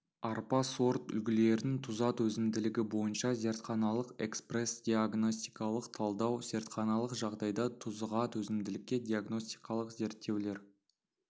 арпа сорт үлгілерін тұзға төзімділігі бойынша зертханалық экспресдиагностикалық талдау зертханалық жағдайда тұзға төзімділікке диагностикалық зерттеулер